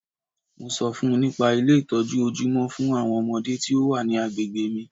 Mo ṣọ fún -un nípa Ilé ìtọ́jú ojúmọ́ fún àwọn ọmọdé tí o wa ní agbègbè mi.